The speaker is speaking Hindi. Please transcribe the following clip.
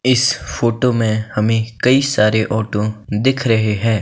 इस फोटो में हमें कई सारे ऑटो दिख रहे हैं।